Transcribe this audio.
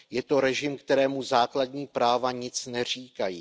Je to režim, kterému základní práva nic neříkají.